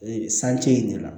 Ee sance in de la